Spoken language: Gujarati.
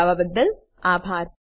જોડાવા બદલ આભાર